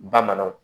Bamananw